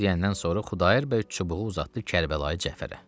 Bu sözləri deyəndən sonra Xudayar bəy çubuğu uzatdı Kərbəlayı Cəfərə.